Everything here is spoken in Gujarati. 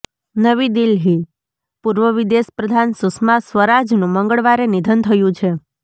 નવી દિલ્હીઃ પૂર્વ વિદેશ પ્રધાન સુષ્મા સ્વરાજનું મગંળવારે નિધન થયું છે